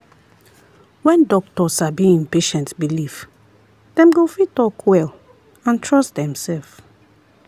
when doctor sabi en patient belief dem go fit talk well and trust demself.